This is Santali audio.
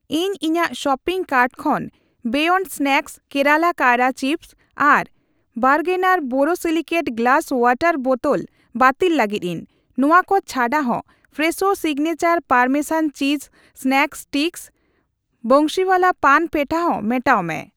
ᱤᱧ ᱤᱧᱟᱜ ᱥᱚᱯᱤᱝ ᱠᱟᱨᱴ ᱠᱷᱚᱱ ᱵᱤᱭᱚᱱᱰ ᱥᱱᱮᱠ ᱠᱮᱨᱟᱞᱟ ᱠᱟᱭᱨᱟ ᱪᱤᱯᱥ ᱟᱨ ᱵᱟᱨᱜᱱᱟᱨ ᱵᱳᱨᱳᱥᱤᱞᱤᱠᱮᱴ ᱜᱞᱟᱥ ᱣᱟᱴᱟᱨ ᱵᱚᱴᱴᱞ ᱵᱟᱹᱛᱤᱞ ᱞᱟᱹᱜᱤᱫᱤᱧ ᱾ ᱱᱚᱣᱟ ᱠᱚ ᱪᱷᱟᱰᱟᱦᱚᱸ, Fresho signature parmesan cheese snack sticks, Bansiwala paan petha ᱦᱚᱸ ᱢᱮᱴᱟᱣ ᱢᱮ ᱾